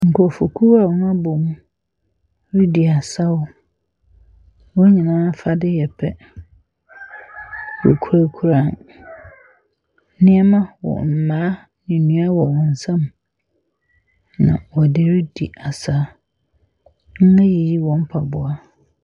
Nkurɔfokuo a wɔabom redi asaw. Wɔn nyinaa afadeɛ yɛ pɛ. Wɔkurakura nneɛma wɔ wɔ . Mmaa, nnua wɔ wɔn nsam, na wɔde redi asa. Wɔayiyi wɔn mpaboa.